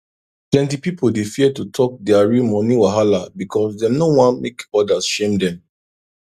plenty pipo dey fear to talk dia real money wahala because dem no wan make others shame dem